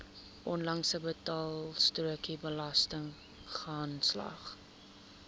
onlangse betaalstrokie belastingaanslag